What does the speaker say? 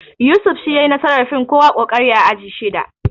Yusuf shi ya yayi nasarar fin kowa ƙoƙari a aji shida